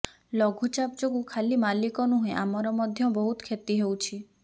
ଲଘୁଚାପ ଯୋଗୁ ଖାଲି ମାଲିକ ନୁହେଁ ଆମର ମଧ୍ୟ ବହୁତ କ୍ଷତି ହେଉଛି